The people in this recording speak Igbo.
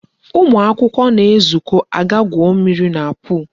Ụmụ akwụkwọ na-esokwa aga gwuo mmiri na pol.